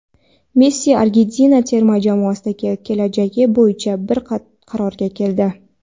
Messi Argentina terma jamoasidagi kelajagi bo‘yicha bir qarorga keldi.